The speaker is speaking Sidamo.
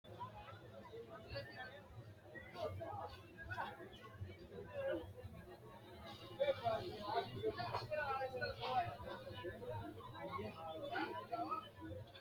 Daganna maate dagate yaa mitte gobba giddo heerannoha kiironsa jawa ikkino manna dagate yineemmo maate kayinni mittu mini giddo calla heedhannoreeti